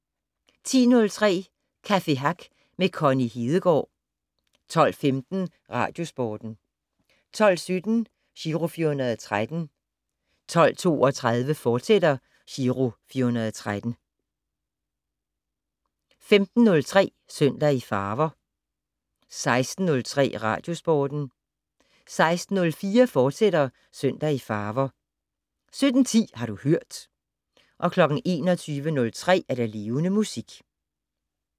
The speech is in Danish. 10:03: Café Hack med Connie Hedegaard 12:15: Radiosporten 12:17: Giro 413 12:32: Giro 413, fortsat 15:03: Søndag i Farver 16:03: Radiosporten 16:04: Søndag i Farver, fortsat 17:10: Har du hørt 21:03: Levende Musik